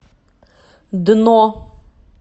дно